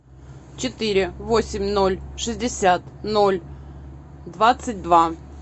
четыре восемь ноль шестьдесят ноль двадцать два